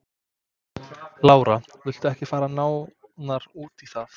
Lára: Viltu ekki fara nánar út í það?